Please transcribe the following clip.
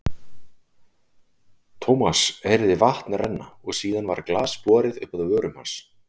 Thomas heyrði vatn renna og síðan var glas borið upp að vörum hans.